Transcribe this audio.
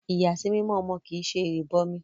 Ìyàsímímọ́ ọmọ kì ṣe ìrìbọmi